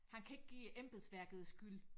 Han kan ikke give embedsværket skyld